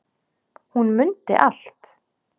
Hún mundi allt.